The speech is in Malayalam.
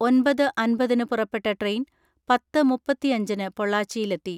ഒൻപത് അൻപതിന് പുറപ്പെട്ട ട്രെയിൻ പത്ത് മുപ്പത്തിഅഞ്ചിന് പൊള്ളാച്ചിയിലെത്തി.